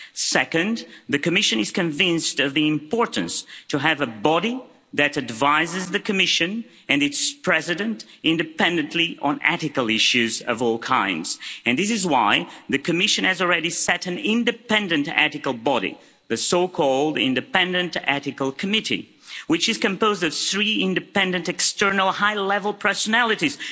Second, the Commission is convinced of the importance of having a body that advises the Commission and its President independently on ethical issues of all kinds, and this is why the Commission has already set up an independent ethical body, the Independent Ethical Committee, which is composed of three independent external high level personalities.